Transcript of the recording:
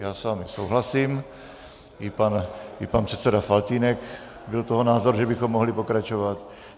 Já s vámi souhlasím, i pan předseda Faltýnek byl toho názoru, že bychom mohli pokračovat.